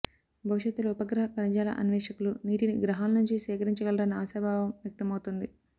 భవిష్యత్తులో ఉపగ్రహ ఖనిజాల అన్వేషకులు నీటిని గ్రహాల నుంచి సేకరించ గలరన్న ఆశాభావం వ్యక్తమవుతోంది